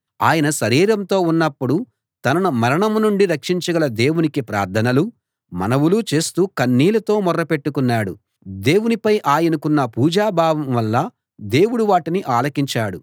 ఆయన శరీరంతో ఉన్నప్పుడు తనను మరణం నుండి రక్షించగల దేవునికి ప్రార్థనలూ మనవులూ చేస్తూ కన్నీళ్ళతో మొర్ర పెట్టుకున్నాడు దేవునిపై ఆయనకున్న పూజ్యభావం వల్ల దేవుడు వాటిని ఆలకించాడు